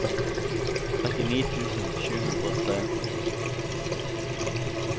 trettini tusen sju hundre og tre